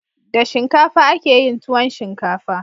Da shinkafa akeyin tuwon shinkafa